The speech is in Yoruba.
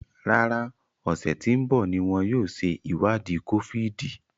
Rárá, ọsẹ tí ń bọ̀ ní wọn yóò ṣe ìwádìí kófíìdì